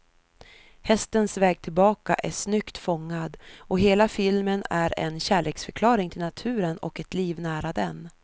Hästens väg tillbaka är snyggt fångad, och hela filmen är en kärleksförklaring till naturen och ett liv nära den.